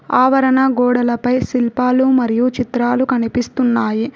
ఆవరణ గోడలపై శిల్పాలు మరియు చిత్రాలు కనిపిస్తున్నాయి.